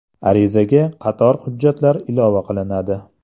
Arizaga qator hujjatlar ilova qilinadi.